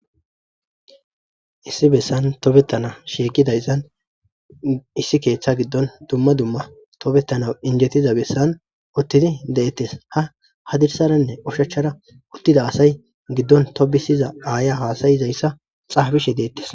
Issi beesan tobetana shiiqidayssan issi keeththa giddon dumma dumma injjetiza bessan uttidi de'etes. Ha hadirsaranne oshachchara uttida asa giddon tobbisiza aayiya haasa'izayssa xaafishe deettes.